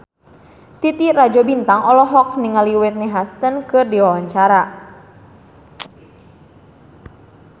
Titi Rajo Bintang olohok ningali Whitney Houston keur diwawancara